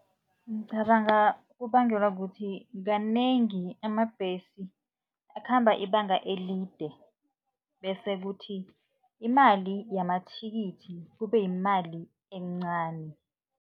Ngicabanga kubangelwa kukuthi, kanengi amabhesi akhambe ibanga elide bese kuthi imali yamathikithi kube yimali encani.